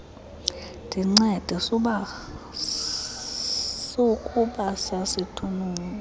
ndincede sukuba sasithunuka